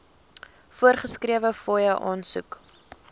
voorgeskrewe fooie aansoek